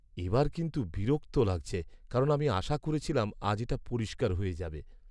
এবার কিন্তু বিরক্ত লাগছে, কারণ আমি আশা করেছিলাম আজ এটা পরিষ্কার হয়ে যাবে।